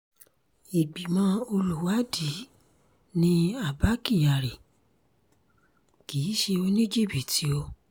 ìgbìmọ̀ olùwádìí ni abba kyari kì í ṣe oníjìbìtì o